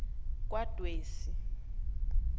kwadwesi